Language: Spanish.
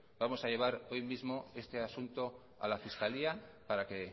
vamos a llevar hoy mismo este asunto a la fiscalía para que